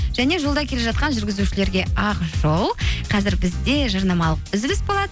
және жолда келе жатқан жүргізушілерге ақ жол қазір бізде жарнамалық үзіліс болады